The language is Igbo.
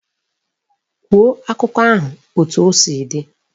Gụọ akụkọ ahụ etu o si dị!